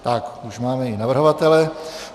Tak, už máme i navrhovatele.